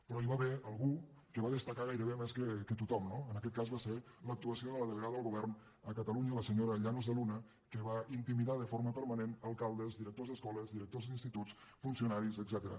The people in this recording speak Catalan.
però hi va haver algú que va destacar gairebé més que tothom no en aquest cas va ser l’actuació de la delegada del govern a catalunya la senyora llanos de luna que va inti·midar de forma permanent alcaldes directors d’esco·les directors d’instituts funcionaris etcètera